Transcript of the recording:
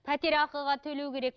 пәтер ақыға төлеу керек